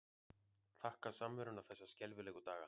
Þakka samveruna þessa skelfilegu daga.